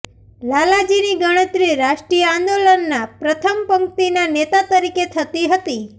લાલાજીની ગણતરી રાષ્ટ્રીય આંદોલનના પ્રથમ પંક્તિના નેતા તરીકે થતી હતી